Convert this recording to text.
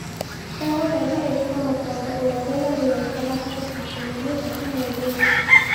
ndagũthaitha ikĩra mukonde uria rĩera rĩgaĩkara tarĩkĩ ikumi na ithatu mwerĩ uyu